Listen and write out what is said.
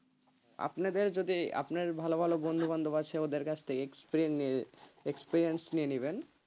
আপনাদের যদি আপনার ভালো ভালো বন্ধু-বান্ধব আছে ওদের কাছ থেকে experien~ xperience নিয়ে নেবেন,